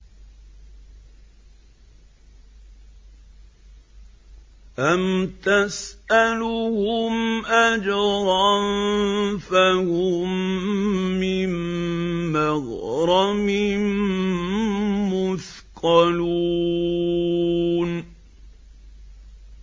أَمْ تَسْأَلُهُمْ أَجْرًا فَهُم مِّن مَّغْرَمٍ مُّثْقَلُونَ